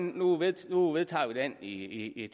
nu vedtager nu vedtager vi den i